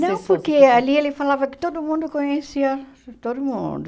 Não, porque ali ele falava que todo mundo conhecia todo mundo.